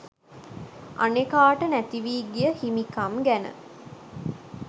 අනෙකාට නැතිවී ගිය හිමිකම් ගැන